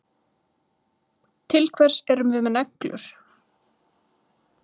Til hvers erum við með neglur?